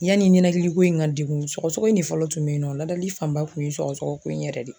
Yani ninakili ko in ka degun sɔgɔsɔgɔ in de fɔlɔ tun be yen nɔ. Ladali fanba tun ye sɔgɔsɔgɔ ko in yɛrɛ de ye.